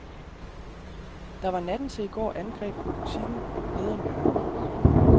Der var natten til i går angreb på butikken nede om hjørnet.